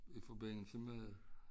I forbindelse med